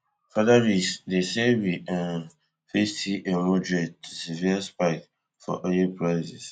further risk dey say we um fit see a moderate to severe spike for oil prices